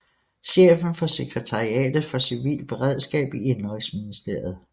Chefen for sekretariatet for civilt beredskab i indenrigsministeriet